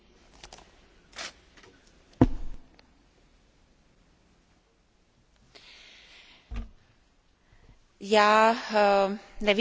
Nevím, zda to byla otázka tlumočení nebo zda jsem rozuměla správně, že rodina je potrestána tím, že